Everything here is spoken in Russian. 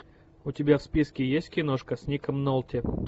у тебя в списке есть киношка с ником нолти